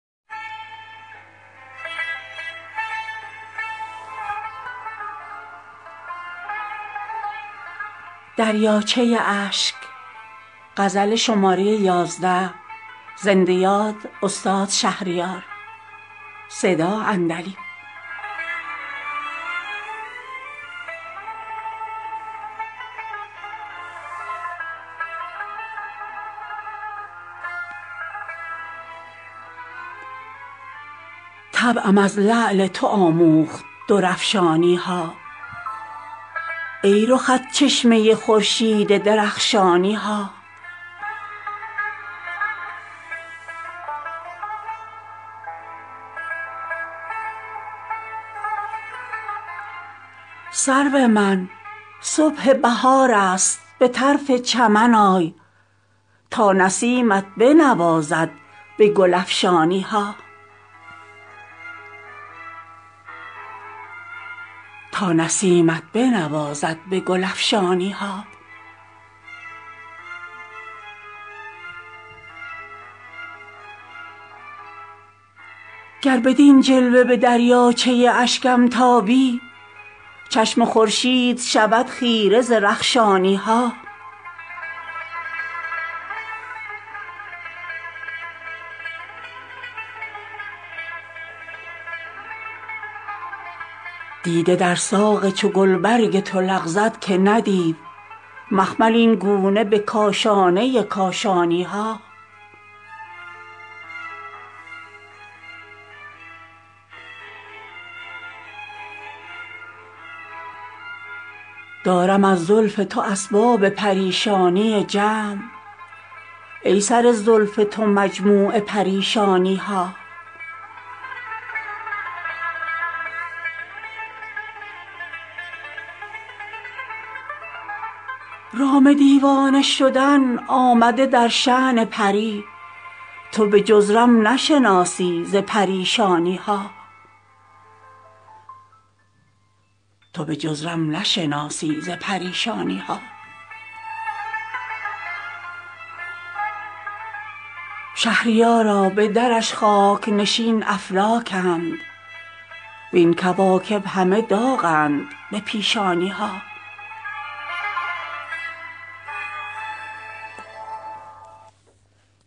طبعم از لعل تو آموخت درافشانی ها ای رخت چشمه خورشید درخشانی ها سرو من صبح بهار است به طرف چمن آی تا نسیمت بنوازد به گل افشانی ها گر بدین جلوه به دریاچه اشکم تابی چشم خورشید شود خیره ز رخشانی ها دیده در ساق چو گلبرگ تو لغزد که ندید مخمل اینگونه به کاشانه کاشانی ها دارم از زلف تو اسباب پریشانی جمع ای سر زلف تو مجموع پریشانی ها تو بدین لعل لب ار بر سر بازار آیی لعل بازار نیارند بدخشانی ها رام دیوانه شدن آمده در شان پری تو به جز رم نشناسی ز پریشانی ها شهریارا به درش خاک نشین افلاکند وین کواکب همه داغند به پیشانی ها